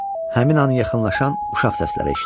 Həmin an yaxınlaşan uşaq səsləri eşitdi.